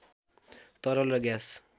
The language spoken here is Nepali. तरल र ग्यास